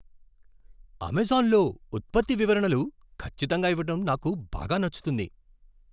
అమెజాన్లో ఉత్పత్తి వివరణలు ఖచ్చితంగా ఇవ్వటం నాకు బాగా నచ్చుతుంది.